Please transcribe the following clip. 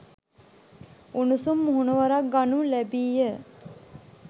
උණුසුම් මුහුණුවරක් ගනු ලැබිය.